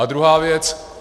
A druhá věc.